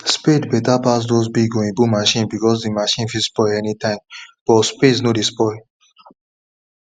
spade better pass those big oyibo machine because the machine fit spoil anytime but spade nor dey spoil